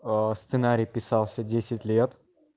а сценарий писался десять лет